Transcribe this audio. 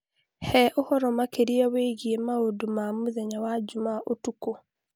He ũhoro makĩria wĩgiĩ maũndũ ma mũthenya wa Jumaa ũtukũ